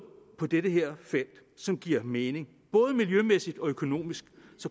på det her felt som giver mening både miljømæssigt og økonomisk